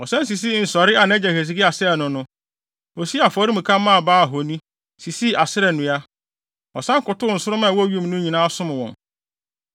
Ɔsan sisii nsɔree a nʼagya Hesekia sɛee no no. Osii afɔremuka maa Baal ahoni, sisii Asera nnua. Ɔsan kotow nsoromma a ɛwɔ wim no nyinaa, som wɔn.